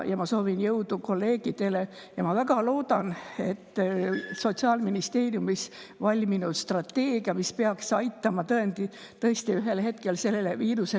Ma soovin kolleegidele jõudu ja ma väga loodan, et Sotsiaalministeeriumis valminud strateegia, mis peaks aitama tõesti ühel hetkel sellele viirusele lõpu teha,.